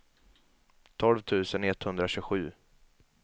tolv tusen etthundratjugosju